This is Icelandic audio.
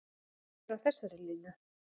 Ég er á þessari línu.